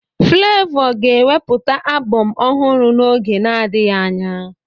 Flavour ga-ewepụta abọm ọhụrụ n'oge na-adịghị anya